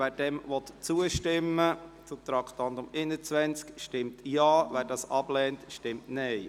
Wer dem zustimmen will, stimmt Ja, wer dies ablehnt, stimmt Nein.